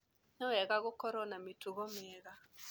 Nĩ wega gũkorũo na mĩtugo mĩega.